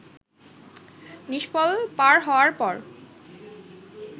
নিষ্ফল পার হওয়ার পর